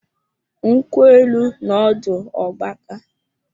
Nkwụ élú nọ ọdụ ọ gbakaa